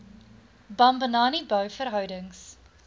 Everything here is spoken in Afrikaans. bambanani bou verhoudings